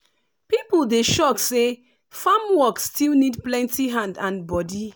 people dey shock say farm work still need plenty hand and body.